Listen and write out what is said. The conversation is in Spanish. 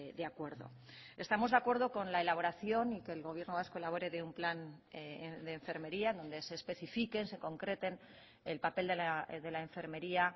de acuerdo estamos de acuerdo con la elaboración y que el gobierno vasco elabore de un plan de enfermería donde se especifiquen se concreten el papel de la enfermería